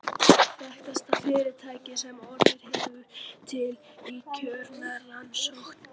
Þekktasta fyrirtækið sem orðið hefur til í kjölfar rannsókna